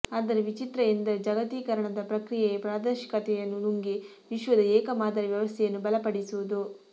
ಆದರೆ ವಿಚಿತ್ರ ಎಂದರೆ ಜಾಗತೀಕರಣದ ಪ್ರಕ್ರಿಯೆಯೇ ಪ್ರಾದೇಶಿಕತೆಯನ್ನು ನುಂಗಿ ವಿಶ್ವದ ಏಕ ಮಾದರಿ ವ್ಯವಸ್ಥೆಯನ್ನು ಬಲಪಡಿಸುವುದು